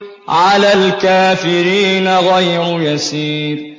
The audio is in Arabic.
عَلَى الْكَافِرِينَ غَيْرُ يَسِيرٍ